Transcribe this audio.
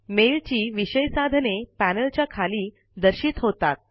mail ची विषय साधने पैनल च्या खाली दर्शित होतात